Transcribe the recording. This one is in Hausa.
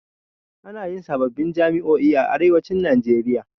Ana yin sababbin jami'o'i a arewacin najeria